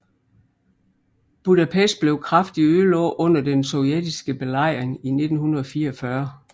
Budapest blev kraftigt ødelagt under den sovjetiske belejring i 1944